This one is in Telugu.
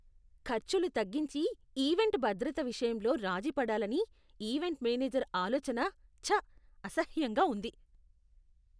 ఖర్చులు తగ్గించి, ఈవెంట్ భద్రత విషయంలో రాజీ పడాలని ఈవెంట్ మేనేజర్ ఆలోచన, చ్చ! అసహ్యంగా ఉంది.